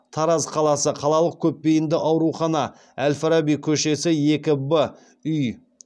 тараз қаласы қалалық көпбейінді аурухана әл фараби көшесі екі в үй